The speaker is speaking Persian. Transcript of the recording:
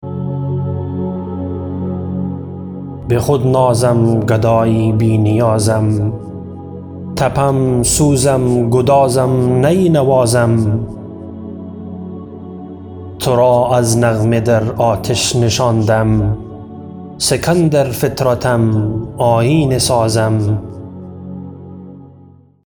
بخود نازم گدای بی نیازم تپم سوزم گدازم نی نوازم ترا از نغمه در آتش نشاندم سکندر فطرتم آیینه سازم